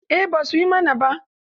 Eh ba su yi mana ba.